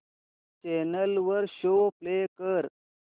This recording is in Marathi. चॅनल वर शो प्ले कर